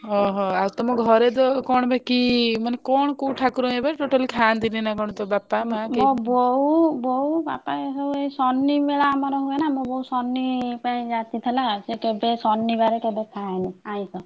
ଓହୋ ଆଉ ତମ ଘରେ ତ କଣ ବା କି? ମାନେ କଣ କି ଠାକୁର total ଖାନ୍ତିନି ନା କଣ ତୋ ବାପା ମାଆ କେହି ମୋ ବୋଉ ବୋଉ ବାପା ଏଇସବୁ ଏଇ ଶନିମେଳା ଆମର ହୁଏନା ମୋ ବୋଉ ଶନି ପାଇଁ ଯାଚିଥିଲା ସେ କେବେ ଶନିବାରେ କେବେ ଖାଏନି ଆଇଂଷ।